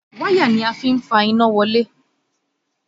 Wáyà ni a fí ń fa iná wọlé